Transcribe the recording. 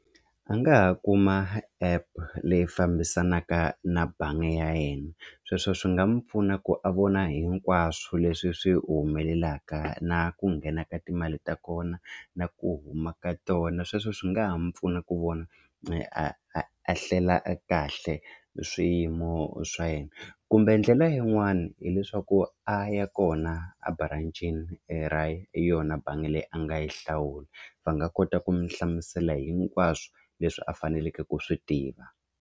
A nga ha kuma app leyi fambisanaka na bangi ya yena sweswo swi nga n'wi pfuna ku a vona hinkwaswo leswi swi humelelaka na ku nghena ka timali ta kona na ku huma ka tona sweswo swi nga ha mu pfuna ku vona a a a hlela e kahle swiyimo swa yena kumbe ndlela yin'wani hileswaku a ya kona a branch-ini e ra yona bangi leyi a nga yi hlawula va nga kota ku mi hlamusela hinkwaswo leswi a faneleke ku swi tiva.